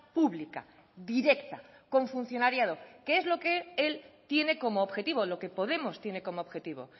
pública directa con funcionariado que es lo que él tiene como objetivo lo que podemos tiene como objetivo